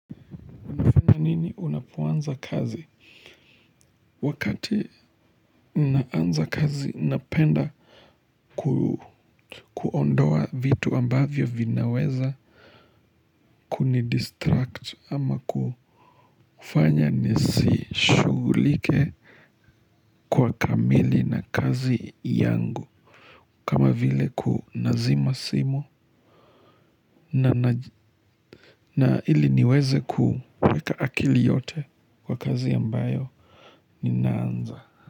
Ni nini unapoanza kazi? Wakati naanza kazi napenda kuondoa vitu ambavyo vinaweza kunidistract ama kufanya nisishughulike kwa kamili na kazi yangu. Kama vile ku nazima simu na ili niweze kuweka akili yote kwa kazi ambayo ninaanza.